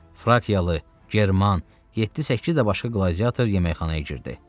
Frakiyalı German, 7-8 də başqa qladiator yeməkxanaya girdi.